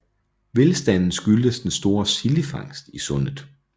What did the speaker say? Velstanden skyldtes den store sildefangst i sundet